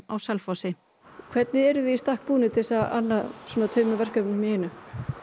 á Selfossi hvernig eruð þið í stakk búnir til þess að anna svona tveimur verkefnum í einu